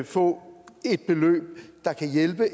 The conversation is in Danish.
få et beløb der kan hjælpe